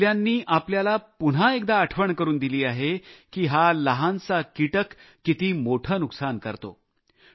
या हल्ल्यांनी आपल्याला पुन्हा एकदा आठवण करून दिली आहे की हा लहान प्राणी किती मोठे नुकसान करतो